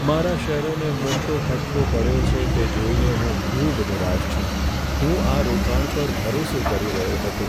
મારા શેરોને મોટો ફટકો પડ્યો છે તે જોઈને હું ખૂબ નિરાશ છું. હું આ રોકાણ પર ભરોસો કરી રહ્યો હતો.